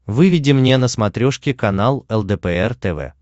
выведи мне на смотрешке канал лдпр тв